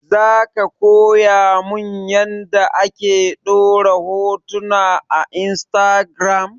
Zaka koya mun yanda ake ɗora hotuna a instagiram?